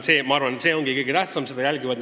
Loomulikult, see ongi kõige tähtsam küsimus.